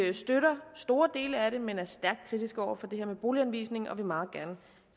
vi støtter store dele af forslaget men er stærkt kritiske over for det her med boliganvisningen og vi vil meget gerne